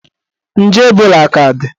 Nje Ebola aka dị?